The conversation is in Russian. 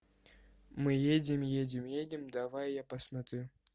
мы едем едем едем давай я посмотрю